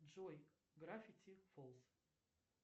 джой гравити фолз